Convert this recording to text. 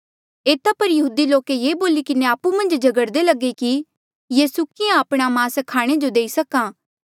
एता पर यहूदी लोके ये बोली किन्हें आपु मन्झ झगड़दे लगे कि यीसू किहाँ आपणा मास खाणे जो देई सक्हा